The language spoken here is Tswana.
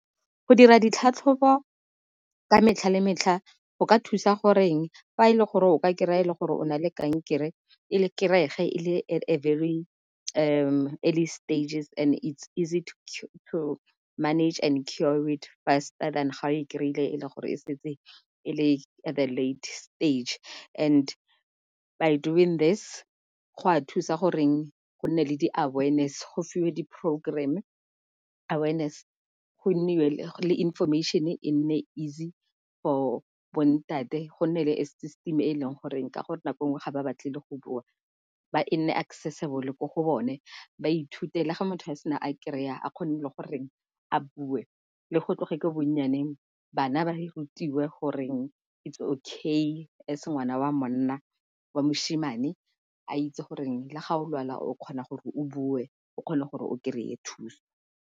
Go dira ditlhatlhobo ka metlha le metlha go ka thusa goreng fa e le gore o ka kry-e le gore o na le kankere e le kry-ege e le at a very early stages and it's easy to manage and cure it faster than ga o e kry-ile e le gore e setse e le at a late stage and by doing this go a thusa goreng go nne le di-awareness go fiwe di-programme awareness, go nniwe le information e nne easy for bo ntate go nne le a system e leng goreng ka gore nako nngwe ga ba ba tlile go bua ba e nne accessible ko go bone ba ithute le ge motho a sena a kry-a kgone le gore a bue, le go tloga ko bonnyaneng bana ba rutiwe gore it's okay as ngwana wa monna wa mosimane a itse gore le ga o lwala o kgona gore o bue o kgone gore o kry-e thuso.